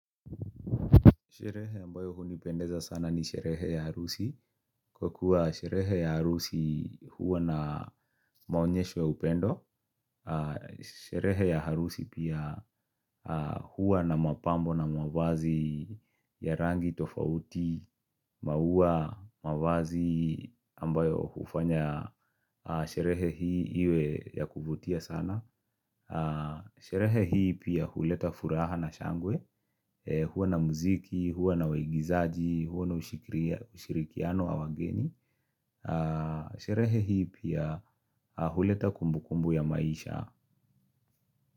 Sherehe ambayo hunipendeza sana ni sherehe ya harusi. Kwa kuwa sherehe ya arusi huwa na maonyesho ya upendo. Sherehe ya harusi pia huwa na mapambo na mavazi ya rangi tofauti, maua, mavazi ambayo hufanya. Sherehe hii iwe ya kuvutia sana. Sherehe hii pia huleta furaha na shangwe Huwa na muziki, huwa na waigizaji, huwa na ushirikiano wa wageni Sherehe hii pia huleta kumbu kumbu ya maisha.